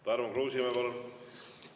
Tarmo Kruusimäe, palun!